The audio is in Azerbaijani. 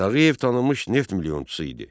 Tağıyev tanınmış neft milyonçusu idi.